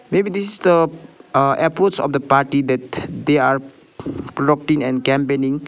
maybe this is the uh approach of the party that they are and campaigning.